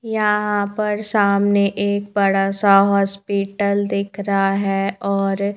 यहां पर सामने एक बड़ासा हॉस्पिटल दिख रहा है और--